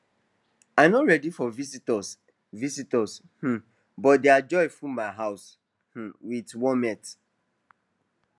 i no ready for visitors visitors um but their joy full my house um with warmth